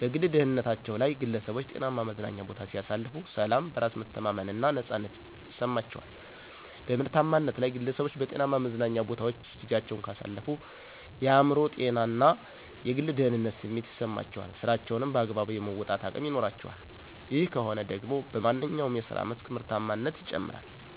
-በግል ደህንነታቸ ላይ ግለሠቦች ጤናማ መዝናኛ ቦታ ሲያሳልፉ፦ ሠላም፣ በራስ የመተማመን እና ነፃነት ይማቸዋል። -በምርታማነት ላይ፦ ግለሠቦች በጤናማ መዝናኞ ቦታወች ጊዚያቸውን ካሳለፉ የአእምሮ ጤና እና የግል ደህንነት ስሜት ይሠማቸዋል ስራቸውንም በአግባቡ የመወጣት አቅም ይኖራቸዋል። ይህ ከሆነ ደግሞ በማንኛው የስራ መስክ ምርታማነት ይጨምራል።